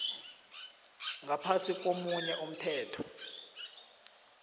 ngaphasi komunye umthetho